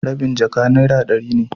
rabin jaka naira dari ne.